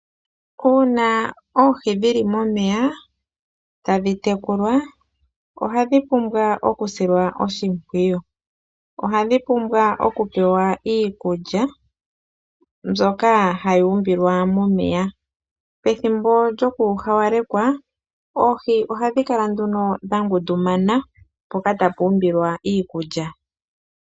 Uuna oohi dhi li momeya ta dhi tekulwa ohadhi pumbwa oku silwa oshipwiyu, ohadhi pumbwa oku pewa iikulya mbyoka ha yi umbilwa momeya ,pethimbo lyo ku hawalekwa oohi ohadhi kala nduno dha ngundumana mpoka ta pu umbilwa iikulya.